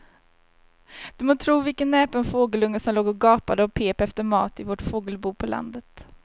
Du må tro vilken näpen fågelunge som låg och gapade och pep efter mat i vårt fågelbo på landet.